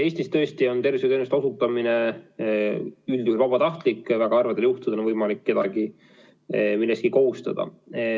Eestis tõesti on tervishoiuteenuste osutamine üldjuhul vabatahtlik, väga harvadel juhtudel on võimalik kedagi millekski kohustada.